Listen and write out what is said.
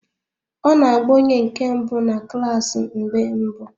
Ọ na-agba onye nke mbụ na klaasi mgbe mbụ